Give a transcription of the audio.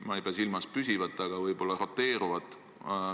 Ma ei pea silmas püsivat kohalolekut, aga võib-olla roteeruvat.